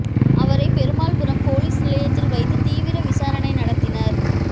அவரை பெருமாள்புரம் போலீஸ் நிலையத்தில் வைத்து தீவிர விசாரணை நடத்தினர்